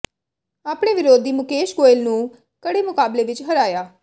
ਆਪਣੇ ਵਿਰੋਧੀ ਮੁਕੇਸ਼ ਗੋਇਲ ਨੂੰ ਕੜੇ ਮੁਕਾਬਲੇ ਵਿਚ ਹਰਾਇਆ